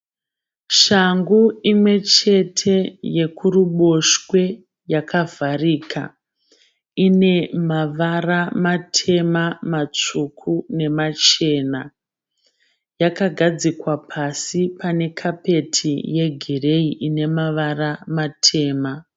Shangu imwechete yokuruboshwe yakavharika, ine mavara matema matsvuku nemachena, yakagadzikwa pasi pane kapeti yegireyi ine mavara matema.